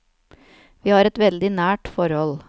Vi har et veldig nært forhold.